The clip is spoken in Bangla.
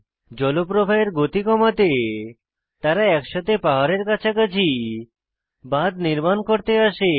জলপ্রবাহের গতি কমাতে তারা একসাথে পাহাড়ের কাছাকাছি বাঁধ নির্মাণ করতে আসে